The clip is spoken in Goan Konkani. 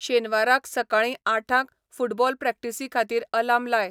शेनवाराक सकाळीं आठांक फुटबॉल प्रॅक्टीसीखातीर आलार्म लाय